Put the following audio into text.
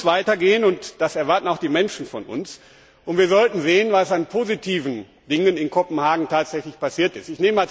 Es muss weitergehen, und das erwarten auch die Menschen von uns. Wir sollten sehen, was an positiven Dingen in Kopenhagen tatsächlich passiert ist.